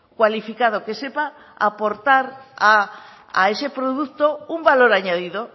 cualificado que sepa aportar a ese producto un valor añadido